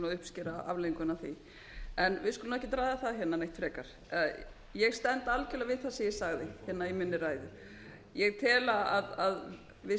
uppskera afleiðinguna af því við skulum ekkert ræða það hérna neitt frekar ég stend algjörlega við það sem ég sagði hérna í minni ræðu ég tel að við